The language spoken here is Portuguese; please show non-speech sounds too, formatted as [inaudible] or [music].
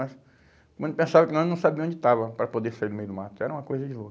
[unintelligible] pensava que nós não sabia onde estava para poder sair do meio do mato, era uma coisa de louco.